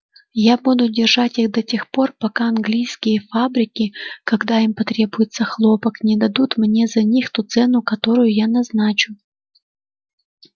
я буду держать их до тех пор пока английские фабрики когда им потребуется хлопок не дадут мне за них ту цену которую я назначу